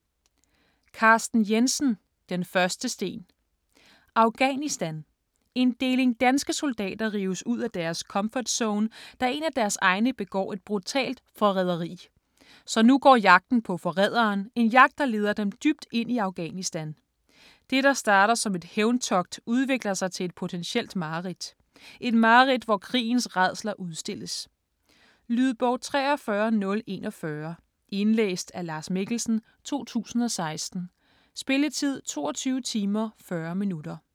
Jensen, Carsten: Den første sten Afghanistan. En deling danske soldater rives ud af deres "comfort zone", da en af deres egne begår et brutalt forræderi. Så nu går jagten på forræderen, en jagt der leder dem dybt ind i Afghanistan. Det, der starter som et hævntogt, udvikler sig til et potentielt mareridt. Et mareridt, hvor krigens rædsler udstilles. Lydbog 43041 Indlæst af Lars Mikkelsen, 2016. Spilletid: 22 timer, 40 minutter.